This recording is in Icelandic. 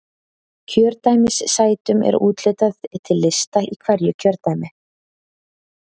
Kjördæmissætum er úthlutað til lista í hverju kjördæmi.